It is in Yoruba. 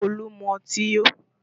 Olu mú ọtí yó